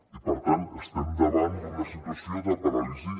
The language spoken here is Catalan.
i per tant estem davant d’una situació de paràlisi